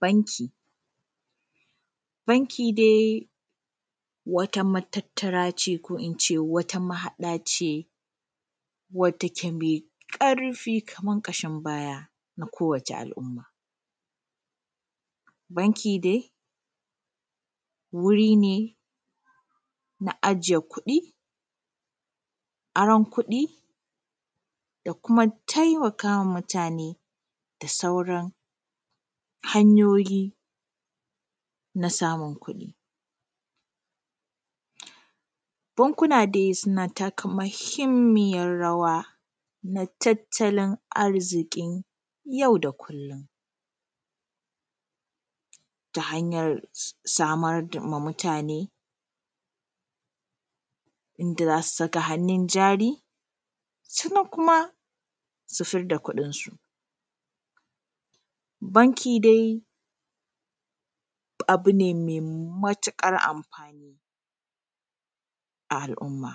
Banki, banki dai wata matattara ce ko ince wata mahaɗace wadda take mai ƙarfi kamar ƙashin baya na kowace al’umma. Banki dai wuri ne na ajiye kuɗi, aron kuɗi, da kuma taimakawa mutane da sauran hanyoyi na samun kuɗi. Bankuna dai suna taka mahimmiyar rawa, na tattalin arzikin yau da kullum, ta hanyar samar ma mutane inda za su saka hannun jari, sannan kuma su fır da kuɗinsu. Banki dai abu ne mai matuƙar amfani a al’umma,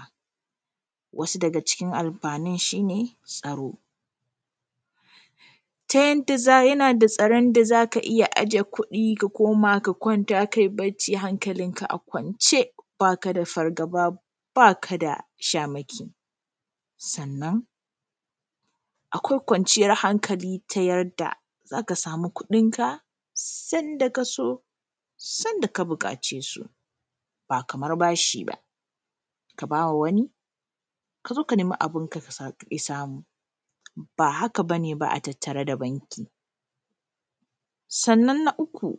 wasu daga cikin amfani shi ne tsaro, ta yanda, yana da tsaron da zaka iya aje kuɗi ka koma ka kwanta kai barci hankalinka a kwance baka fargaba, baka da shamaki, sannan akwai kwanciyar hankali ta yadda zaka samu kuɗinka sanda ka so, sanda ka buƙace su, ba kamar bashi ba, kabawa wani, ka zo ka nemi abunka ka ƙi samu, ba haka ne a tattare da banki. Sannan na uku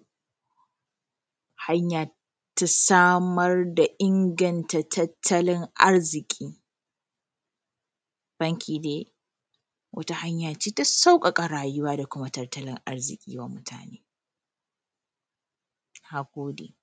hanya ta samar da inganta tattalin arziki. Banki dai wata hanyace ta sauƙaƙa rayuwa da kuma tattalin arziki wa mutane. Na gode.